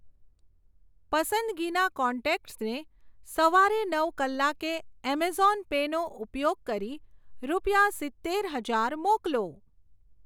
પસંદગીના કોન્ટેક્ટસને સવારે નવ કલાકે એમેઝોન પે નો ઉપયોગ કરી રૂપિયા સિત્તેર હજાર મોકલો.